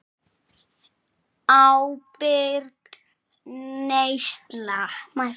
Ábyrg neysla.